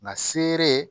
Nka seere